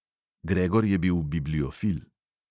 Gregor je bil bibliofil.